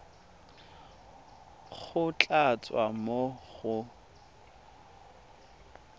go tla tswa mo go